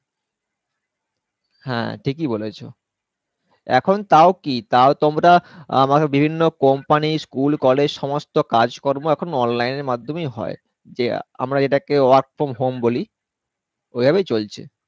হ্যাঁ ঠিকই বলেছো এখন তাও কি তাও তোমরা আহ বিভিন্ন Company school college সমস্ত কাজ কর্ম এখন Online এর মার্ধমেই হয় যে আমরা যেটাকে work from home বলি ওভাবেই চলছে।